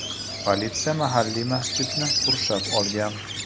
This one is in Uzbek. Politsiya mahalliy masjidni qurshab olgan.